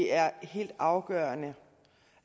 er helt afgørende